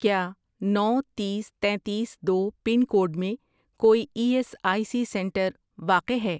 کیا نو، تیس، تینتیس، دو، پن کوڈ میں کوئی E S I C centre واقع ہے؟